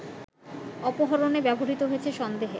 অপহরণে ব্যবহৃত হয়েছে সন্দেহে